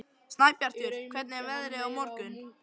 Snæbjartur, hvernig er veðrið á morgun?